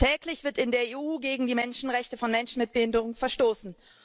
Täglich wird in der EU gegen die Menschenrechte von Menschen mit Behinderung verstoßen.